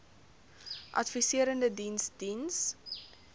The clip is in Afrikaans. adviserende diens diens